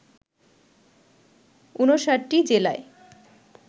৫৯টি জেলায়